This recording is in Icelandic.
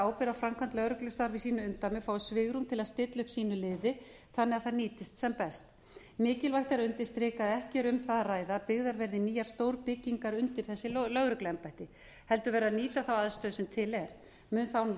ábyrgð á framkvæmd lögreglustarfa í sínu umdæmi fái svigrúm til að stilla upp sínu liði þannig að það nýtist sem best mikilvægt er að undirstrika að ekki er um það að ræða að byggðar verði nýjar stórbyggingar undir þessi lögregluembætti heldur verði að nýta aðstöðuna sem til er mun það án